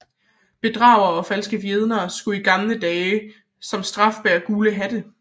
Bedragere og falske vidner skulle i gamle dage som straf bære gule hatte